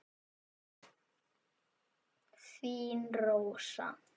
Þín Rósa.